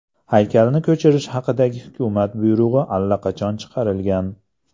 Haykalni ko‘chirish haqidagi hukumat buyrug‘i allaqachon chiqarilgan.